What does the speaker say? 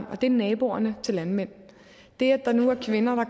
og det er naboerne til landmænd der er nu kvinder der